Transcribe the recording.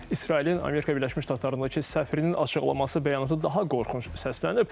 İsrailin Amerika Birləşmiş Ştatlarındakı səfirinin açıqlaması bəyanatı daha qorxunc səslənib.